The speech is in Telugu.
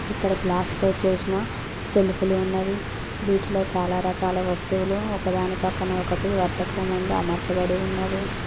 ఇక్కడ గ్లాస్ తో చేసిన సెల్ఫ్ లు ఉన్నవి వీటిలో చాలా రకాల వస్తువులు ఒకదాని పక్కన ఒకటి వరుస క్రమం లో అమర్చబడి ఉన్నవి.